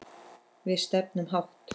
Við stefnum hátt.